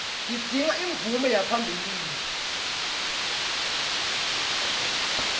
tidzinga imvume yaphambilini